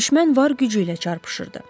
Düşmən var gücü ilə çarpışırdı.